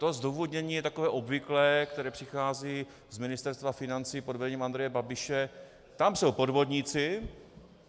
To zdůvodnění je takové obvyklé, které přichází z Ministerstva financí pod vedením Andreje Babiše - tam jsou podvodníci.